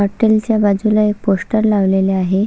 हॉटेलच्या बाजूला एक पोस्टर लावलेले आहे.